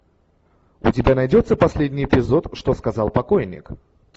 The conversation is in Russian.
у тебя найдется последний эпизод что сказал покойник